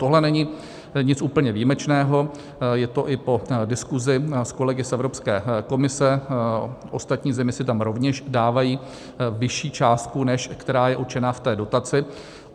Tohle není nic úplně výjimečného, je to i po diskusi s kolegy z Evropské komise, ostatní země si tam rovněž dávají vyšší částku, než která je určená v té dotaci.